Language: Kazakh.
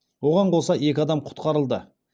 оған қоса екі адам құтқарылды